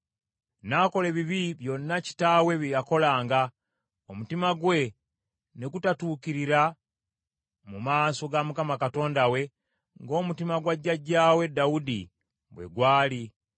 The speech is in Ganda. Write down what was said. N’akola ebibi byonna kitaawe bye yakolanga, omutima gwe ne gutatuukirira mu maaso ga Mukama Katonda we ng’omutima gwa jjajjaawe Dawudi bwe gwali.